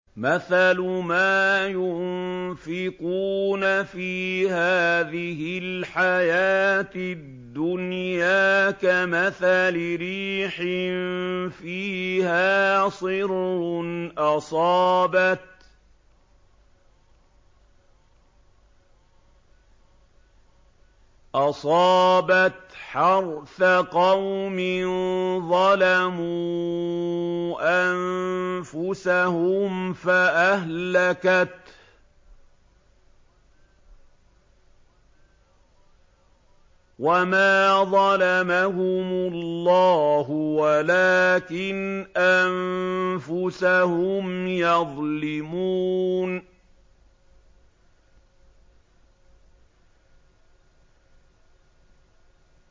مَثَلُ مَا يُنفِقُونَ فِي هَٰذِهِ الْحَيَاةِ الدُّنْيَا كَمَثَلِ رِيحٍ فِيهَا صِرٌّ أَصَابَتْ حَرْثَ قَوْمٍ ظَلَمُوا أَنفُسَهُمْ فَأَهْلَكَتْهُ ۚ وَمَا ظَلَمَهُمُ اللَّهُ وَلَٰكِنْ أَنفُسَهُمْ يَظْلِمُونَ